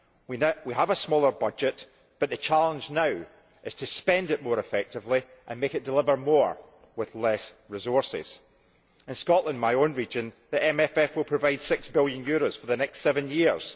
We have a smaller budget but the challenge now is to spend it more effectively and make it deliver more with fewer resources. In Scotland, my own region, the MFF will provide EUR 6 billion for the next seven years.